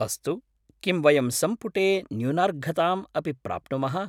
अस्तु, किं वयं सम्पुटे न्यूनार्घताम् अपि प्राप्नुमः?